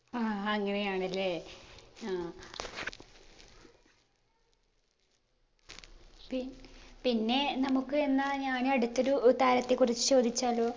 ആ അങ്ങനെയാണ് അല്ലെ ആ പിപിന്നെ നമുക്ക് എന്നാ ഞാൻ അടുത്തൊരു താരത്തെ കുറിച്ച് ചോദിച്ചാലോ